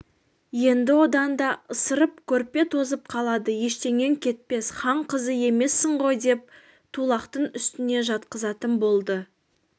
енді одан да ысырып көрпе тозып қалады ештеңең кетпес хан қызы емессің ғой ден тулақтың үстіне жатқызатын болды